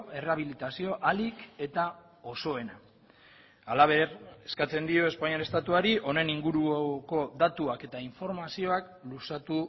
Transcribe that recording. errehabilitazio ahalik eta osoena halaber eskatzen dio espainiar estatuari honen inguruko datuak eta informazioak luzatu